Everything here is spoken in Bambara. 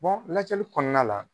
lajɛli kɔnɔna la.